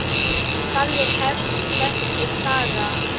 Þannig hefst þessi saga.